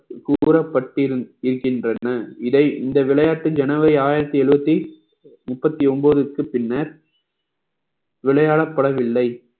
கூறப்பட்டு இருக்கின்றன இதை இந்த விளையாட்டு ஜனவரி ஆயிரத்தி எழுபத்தி முப்பத்தி ஒன்பதுக்கு பின்னர் விளையாடப்படவில்லை